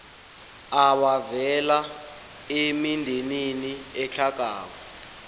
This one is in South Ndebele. abavela emindenini etlhagako